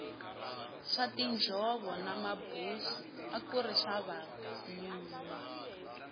swa tinjhovo na mabusi akuri swa vanuna